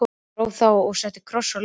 Ég gróf þá og setti kross á leiðið.